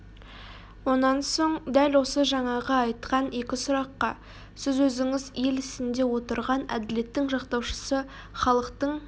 онан соң дәл осы жаңағы айтқан екі сұраққа сіз өзіңіз ел ісінде отырған әділеттің жақтаушысы халықтың